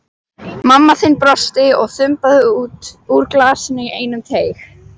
Mamma þín brosti og þambaði úr glasinu í einum teyg.